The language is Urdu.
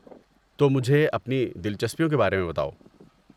تو مجھے اپنی دلچسپیوں کے بارے میں بتاؤ۔